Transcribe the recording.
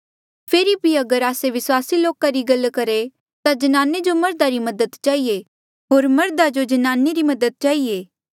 फेरी भी अगर आस्से विस्वासी लोका री गल करहे ता ज्नाने जो मर्धा री मदद चहिए होर मर्धा जो ज्नाने री मदद चहिए